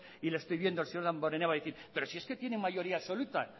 y le estoy viendo al señor damborenea va a decir pero si es que tienen mayoría absoluta